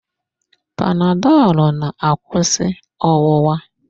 Panadolu na-akwụsị ọwụwa.